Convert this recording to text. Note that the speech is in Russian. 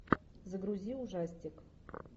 загрузи ужастик